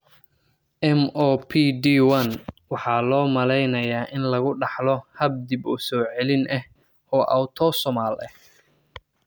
MOPD one waxaa loo maleynayaa in lagu dhaxlo hab dib u soo celin ah oo autosomal ah.